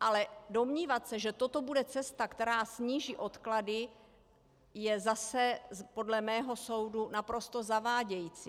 Ale domnívat se, že toto bude cesta, která sníží odklady, je zase podle mého soudu naprosto zavádějící.